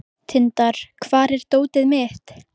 Tindar, hvar er dótið mitt?